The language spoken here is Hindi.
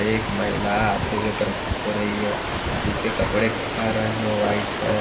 एक महिला आते हुए प्रतीत हो रही है जिसके कपड़े का रंग व्हाइट है।